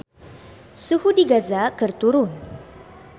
Suhu di Gaza keur turun